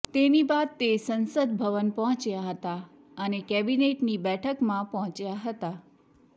તેની બાદ તે સંસદ ભવન પહોંચ્યા હતા અને કેબીનેટની બેઠકમા પહોંચ્યા હતા